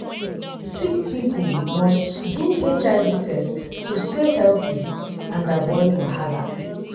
sick people must do hiv test to stay healthy and avoid wahala.